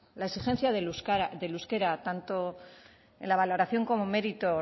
la exigencia del euskara tanto en la valoración como mérito